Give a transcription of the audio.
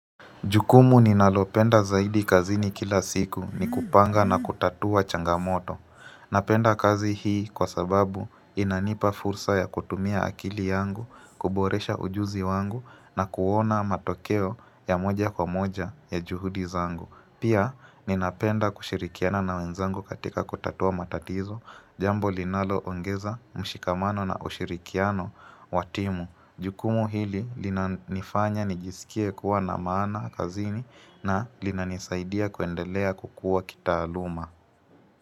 Jukumu ninalopenda zaidi kazini kila siku ni kupanga na kutatua changamoto. Napenda kazi hii kwa sababu inanipa fursa ya kutumia akili yangu, kuboresha ujuzi wangu na kuona matokeo ya moja kwa moja ya juhudi zangu. Pia, ninapenda kushirikiana na wenzangu katika kutatua matatizo, jambo linaloongeza mshikamano na ushirikiano wa timu. Jukumu hili linanifanya nijisikie kuwa na maana kazini na linanisaidia kuendelea kukuwa kitaaluma.